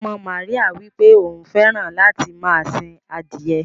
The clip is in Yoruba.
Ọmọ Maríyà wípé òun fẹràn láti máa sìn adiye.